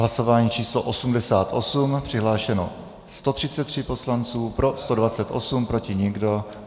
Hlasování číslo 88, přihlášeno 133 poslanců, pro 128, proti nikdo.